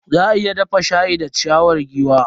Za a iya dafa shayi da ciyawar giwa.